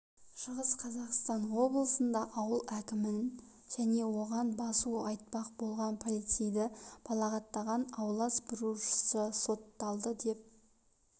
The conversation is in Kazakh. шығыс қазақстан облысында ауыл әкімін және оған басу айтпақ болған полицейді балағаттаған аула сыпырушы сотталды деп